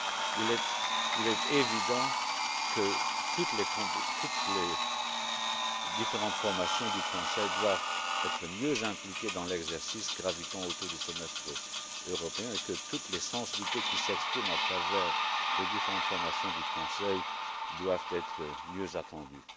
Il est évident que toutes les différentes formations du Conseil doivent être mieux impliquées dans l'exercice gravitant autour du semestre européen et que toutes les sensibilités qui s'expriment à travers les différentes formations du Conseil doivent être mieux entendues.